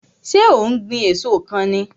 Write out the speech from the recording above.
So ó ń gbìn èso kan ni?